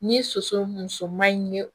Ni soso musoman in ye